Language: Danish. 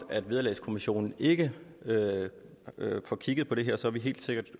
vederlagskommissionen ikke får kigget på det her er vi helt sikkert